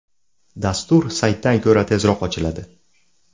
Dastur saytdan ko‘ra tezroq ochiladi.